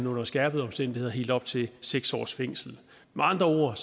under skærpede omstændigheder helt op til seks års fængsel med andre ord